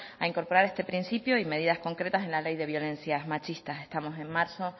a incorporar este principio y medias concretas en la ley de violencias machistas estamos en marzo